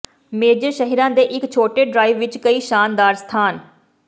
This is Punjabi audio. ਮੇਜਰ ਸ਼ਹਿਰਾਂ ਦੇ ਇੱਕ ਛੋਟੇ ਡ੍ਰਾਈਵ ਵਿੱਚ ਕਈ ਸ਼ਾਨਦਾਰ ਸਥਾਨ